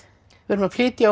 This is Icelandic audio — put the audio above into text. við erum að flytja